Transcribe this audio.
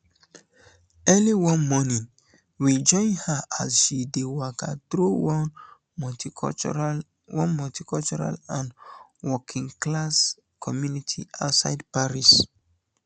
early one morning we join her as she dey waka through one multicultural one multicultural and workingclass community outside paris